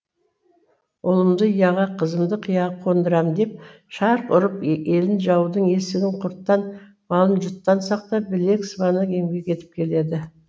ұлымды ұяға қызымды қияға қондырам деп шарқ ұрып елін жаудан есігін құрттан малын жұттан сақтап білек сыбана еңбек етіп келеді